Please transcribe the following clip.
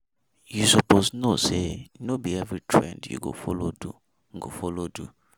You suppose know say no be every trend you go follow do. go follow do.